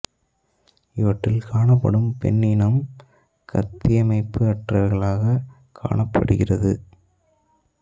இவற்றில் காணப்படும் பெண் இனம் கத்தி அமைப்பு அற்றவையாகக் காணப்படுகிறது